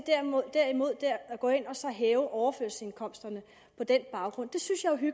gå ind og hæve overførselsindkomsterne på den baggrund